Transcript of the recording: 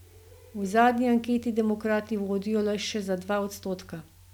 V zadnji anketi demokrati vodijo le še za dva odstotka.